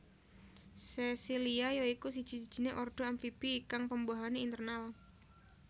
Sesilia ya iku siji sijiné ordo amfibi kang pembuahané internal